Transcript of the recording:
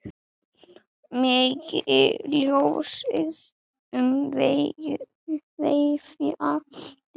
Megi ljósið umvefja þig.